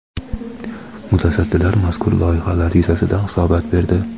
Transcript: Mutasaddilar mazkur loyihalar yuzasidan hisobot berdi.